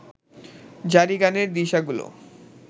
জারিগানের দিশাগুলো